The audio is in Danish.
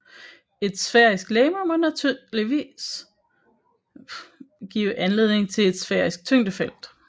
Et sfærisk legeme må nødvendigvis give anledning til et sfærisk tyngdefelt